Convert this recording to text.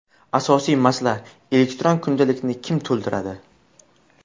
Asosiy masala: elektron kundalikni kim to‘ldiradi?